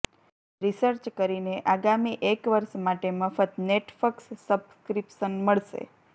research કરીને આગામી એક વર્ષ માટે મફત નેટફ્ક્સ સબ્સ્ક્રિપ્શન મળશે